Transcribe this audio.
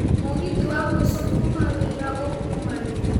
mũgithi wa mũico kuuma wira ũ kuuma rĩ